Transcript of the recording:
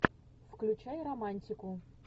включай романтику